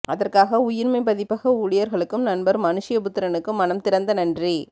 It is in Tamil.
அதற்காக உயிர்மை பதிப்பக ஊழியர்களுக்கும் நண்பர் மனுஷயபுத்திரனுக்கும் மனம் நிறைந்த நன்றி